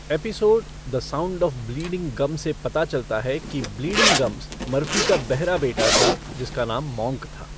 Episode 'the sound of bleeding gums' से पता चलता है कि ब्लीडिंग गम्स मर्फ़ी का बहरा बेटा था जिसका नाम मॉन्क था।